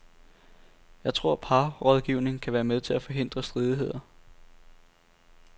Jeg tror parrådgivning kan være med til at forhindre stridigheder.